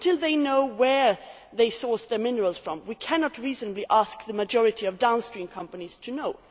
Until they know where they source their minerals from, we cannot reasonably ask the majority of downstream companies to know.